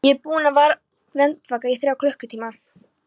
Ég er búinn að vera andvaka í þrjá klukkutíma.